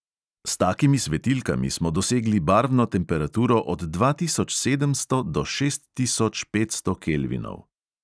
S takimi svetilkami smo dosegli barvno temperaturo od dva tisoč sedemsto do šest tisoč petsto kelvinov.